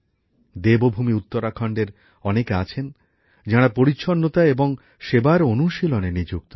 দেবভূমি উত্তরাখণ্ডের অনেকে আছেন যারা পরিচ্ছন্নতা এবং সেবার অনুশীলনে নিযুক্ত